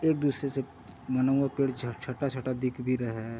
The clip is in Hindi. एक दूसरे से मनुवा पेड़ झ छोटा-छोटा दिख भी रहा है।